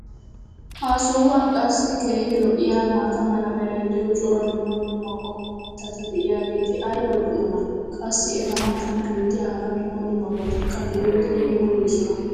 ha sohuwan qassi keehi lo'iyaa maata mala meray diyo cora dumma dumma qommo mitati diyaageti ayba lo'iyoonaa? qassi eta matan beetiya hara dumma dummabatikka be'iyoode yeemmoyoosona.